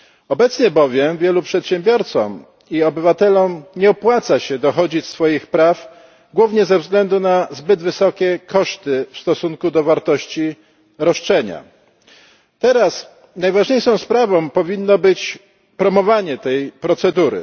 Obecnie bowiem wielu przedsiębiorcom i obywatelom nie opłaca się dochodzić swoich praw głównie ze względu na zbyt wysokie koszty w stosunku do wartości roszczenia. Teraz najważniejszą sprawą powinno być promowanie tej procedury.